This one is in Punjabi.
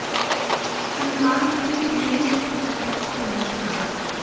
ਸਲਮਾਨ ਨੇ ਸ੍ਰੀਦੇਵੀ ਨੂੰ ਕਿਹਾ ਸਭ ਤੋਂ ਵੱਡਾ ਸਟਾਰ